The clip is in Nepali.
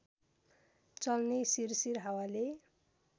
चल्ने सिरसिर हावाले